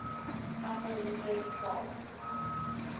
upper reserve gold